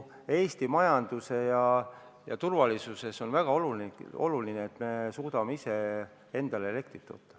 Eesti majandusele ja turvalisusele on väga oluline, et me suudame ise endale elektrit toota.